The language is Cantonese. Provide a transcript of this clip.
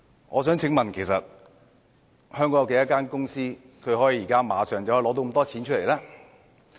我想問香港有多少間公司可以馬上拿出這麽多錢呢？